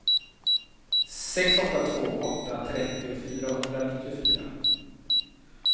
sex åtta två åtta trettio fyrahundranittiofyra